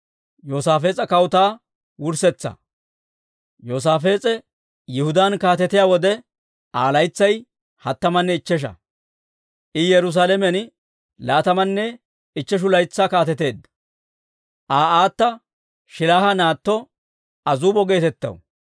Yoosaafees'e Yihudaan kaatetiyaa wode, Aa laytsay hattamanne ichchesha; I Yerusaalamen laatamanne ichcheshu laytsaa kaateteedda. Aa aata Shiiliha naatto Azuubo geetettaw.